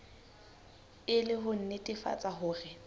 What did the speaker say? e le ho nnetefatsa hore